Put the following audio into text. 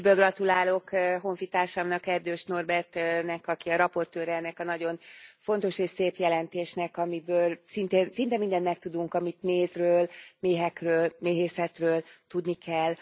Szívből gratulálok honfitársamnak, Erdős Norbertnek, aki a raportőre ennek a nagyon fontos és szép jelentésnek, amiből szinte mindent megtudunk, amit mézről, méhekről, méhészetről tudni kell.